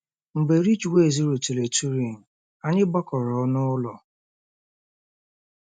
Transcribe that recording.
Mgbe Ridgeways rutere Turin, anyị gbakọrọ ọnụ ụlọ.